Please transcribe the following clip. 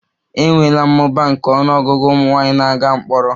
E nweela mmụba nke ọnụ ọgụgụ ụmụ nwanyị na-aga mkpọrọ